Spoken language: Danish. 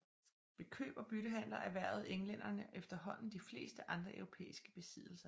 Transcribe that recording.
Ved køb og byttehandler erhvervede englænderne efterhånden de fleste andre europæiske besiddelser